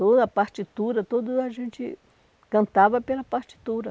Toda a partitura, tudo a gente cantava pela partitura.